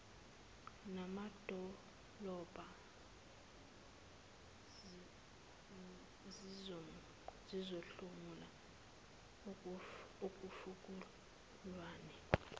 namadolobha zizohlomula ekufukulweni